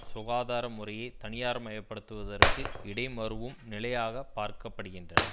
சுகாதார முறையை தனியார்மயப்படுத்துதற்கு இடைமருவும் நிலையாக பார்க்க படுகின்றன